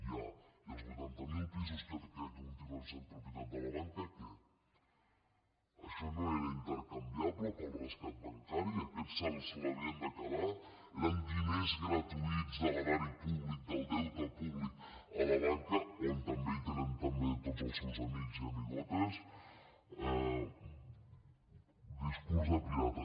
ja i els vuitanta mil pisos que continuen sent propietat de la banca què això no era intercanviable pel rescat bancari aquest se l’havien de quedar eren diners gratuïts de l’erari públic del deute públic a la banca on també hi tenen també tots els seus amics i amigotes discurs de pirata